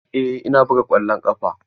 Eh ina buga ƙwallon ƙafa.